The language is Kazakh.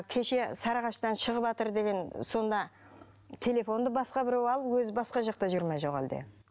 кеше сарағаштан шығыватыр деген сонда телефонды басқа біреу алып өзі басқа жақта жүр ме жоқ әлде